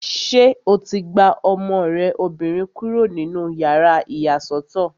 Ṣé o ti gba ọmọ rẹ obìnrin kúrò nínú yàrá ìyàsọ́tọ̀?